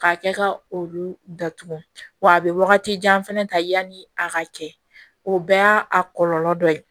K'a kɛ ka olu datugu wa a bɛ wagati jan fana ta yanni a ka cɛ o bɛɛ y'a a kɔlɔlɔ dɔ ye